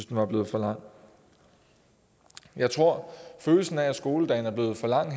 den var blevet for lang jeg tror at følelsen af at skoledagen er blevet for lang